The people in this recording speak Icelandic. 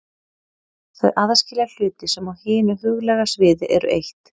Þau aðskilja hluti sem á hinu huglæga sviði eru eitt.